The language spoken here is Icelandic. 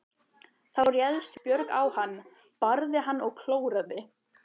Þá réðst Björg á hann, barði hann og klóraði.